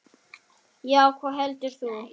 Já, hvað heldur þú.